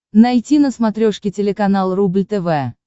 найти на смотрешке телеканал рубль тв